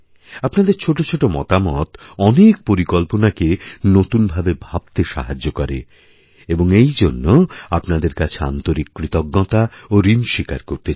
আপনাদের ছোটো ছোটো মতামত অনেকপরিকল্পনাকে নতুন ভাবে ভাবতে সাহায্য করে এবং এইজন্যে আপনাদের কাছে আন্তরিককৃতজ্ঞতা ও ঋণস্বীকার করতে চাই